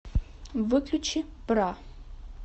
выключи бра